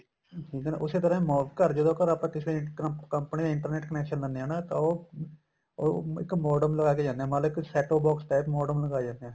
ਠੀਕ ਏ ਨਾ ਉਸੇ ਤਰ੍ਹਾਂ ਘਰ ਜਦੋਂ ਆਪਾਂ ਆਪਾਂ ਤਾਂ ਕਿਸੇ company company ਦਾ internet connection ਲੈਣੇ ਆ ਨਾ ਤਾਂ ਉਹ ਉਹ ਇੱਕ modem ਲਗਾ ਕੇ ਜਾਨੇ ਏ ਮੰਨਲੋ ਇੱਕ set o box type modem ਲਗਾ ਜਾਨੇ ਏ